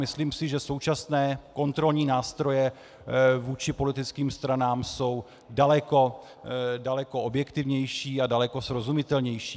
Myslím si, že současné kontrolní nástroje vůči politickým stranám jsou daleko objektivnější a daleko srozumitelnější.